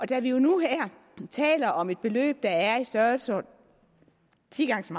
da vi jo nu her taler om et beløb der er i størrelsesordenen ti gange så